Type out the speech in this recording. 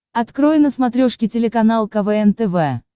открой на смотрешке телеканал квн тв